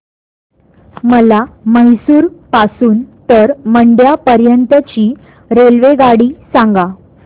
मला म्हैसूर पासून तर मंड्या पर्यंत ची रेल्वेगाडी सांगा